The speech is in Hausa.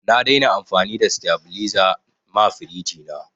Na dai na amfani da sitabiliza ma firiji na